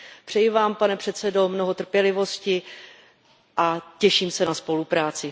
Přeji Vám, pane předsedo, mnoho trpělivosti a těším se na spolupráci.